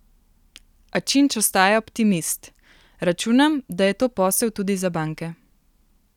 A Činč ostaja optimist: "Računam, da je to posel tudi za banke.